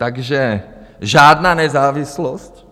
Takže žádná nezávislost.